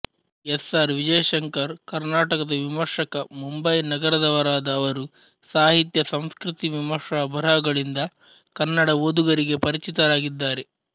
S R Vijayashankar ಕರ್ನಾಟಕದ ವಿಮರ್ಶಕ ಮುಂಬಯಿನಗರದವರಾದ ಅವರು ಸಾಹಿತ್ಯ ಸಂಸ್ಕೃತಿವಿಮರ್ಶಾ ಬರಹಗಳಿಂದ ಕನ್ನಡ ಓದುಗರಿಗೆ ಪರಿಚಿತರಾಗಿದ್ದಾರೆ